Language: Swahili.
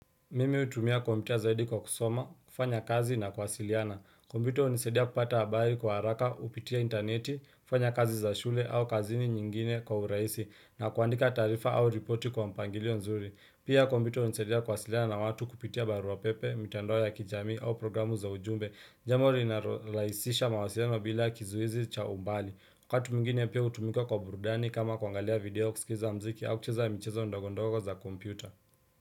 Mimi hutumia kompyuta zaidi kwa kusoma, kufanya kazi na kuwasiliana. Kompyuta hunisadia kupata habari kwa haraka, kupitia interneti, kufanya kazi za shule au kazini nyingine kwa urahisi na kuandika taarifa au ripoti kwa mpangilio nzuri. Pia kompyuta hunisaidia kuwasiliana na watu kupitia barua pepe, mitandao ya kijamii au programu za ujumbe. Jambo liinalorahisisha mawasiliano bila kizuizi cha umbali. Wakati mwngine pia hutumika kwa burudani kama kuangalia video kusikiza mziki au kucheza michezo ndogondogo za kompyuta.